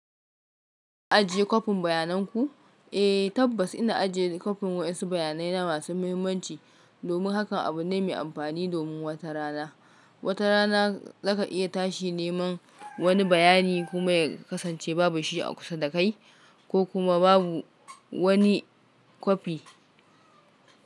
Ka ajiye kwafin bayanan ku? Eh, tabbas ina ajiye kwafin wa'insu bayanai na masu muhimmanci, domin hakan abu ne mai amfani domin wata rana. Wata rana za ka iya tashi neman wani bayani kuma ya kasance babu shi a kusa da kai ko kuma babu wani kwafi.